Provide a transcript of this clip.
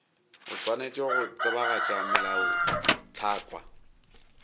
o swanetše go tsebagatša melaotlhakwa